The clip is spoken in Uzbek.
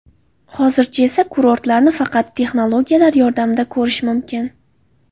Hozircha esa kurortlarni faqat texnologiyalar yordamida ko‘rish mumkin.